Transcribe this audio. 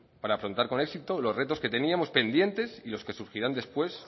para afrontar con éxito los retos que teníamos pendientes y los que surgirán después